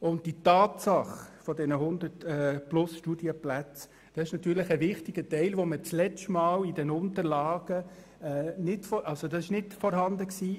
Und die Tatsache der 100 zusätzlichen Studienplätze ist natürlich ein wichtiger Teil, die beim letzten Mal noch nicht in den Unterlagen vorhanden gewesen war.